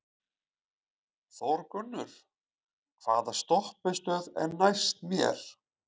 Þórgunnur, hvaða stoppistöð er næst mér?